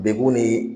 Dekun ni